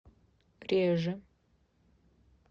реже